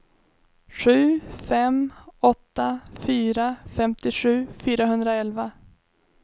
sju fem åtta fyra femtiosju fyrahundraelva